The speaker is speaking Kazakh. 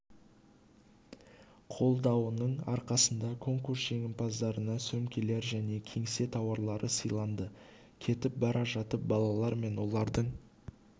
қолдауының арқасында конкурс жеңімпаздарына сөмкелер және кеңсе тауарлары сыйланды кетіп бара жатып балалар мен олардың